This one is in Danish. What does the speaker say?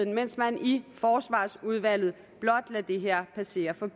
mens man i forsvarsudvalget blot lader det her passere på